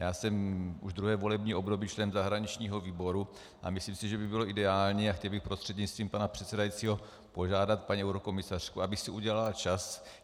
Já jsem už druhé volební období člen zahraničního výboru a myslím si, že by bylo ideální - a chtěl bych prostřednictvím pana předsedajícího požádat paní eurokomisařku, aby si udělala čas.